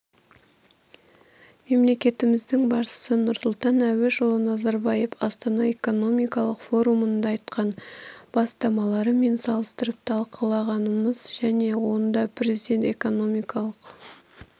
мемлекетіміздің басшысы нұрсұлтан әбішұлы назарбаев астана экономикалық форумында айтқан бастамаларымен салыстырып талқылағанамыз жөн онда президент экономикалық